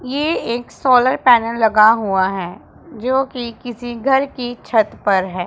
ये एक solar panel लगा हुआ है जो कि किसी घर की छत पर है।